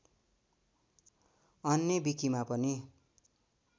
अन्य विकिमा पनि